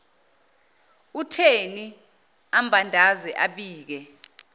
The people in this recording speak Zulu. utheni ambandaze abike